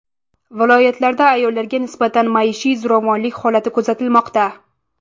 Viloyatlarda ayollarga nisbatan maishiy zo‘ravonlik holati kuzatilmoqda.